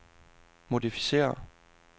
modificér